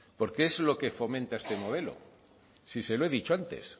porque es lo que fomenta este modelo si se lo he dicho antes